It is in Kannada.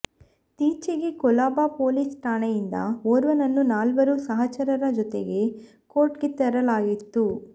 ತ್ತೀಚೆಗೆ ಕೊಲಬಾ ಪೊಲೀಸ್ ಠಾಣೆಯಿಂದ ಓರ್ವನನ್ನು ನಾಲ್ವರು ಸಹಚರರ ಜೊತೆಗೆ ಕೋರ್ಟ್ಗೆ ತರಲಾಗಿತ್ತು